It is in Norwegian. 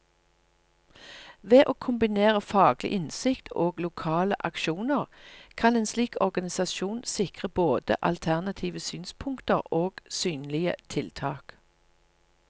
Ved å kombinere faglig innsikt og lokale aksjoner, kan en slik organisasjon sikre både alternative synspunkter og synlige tiltak.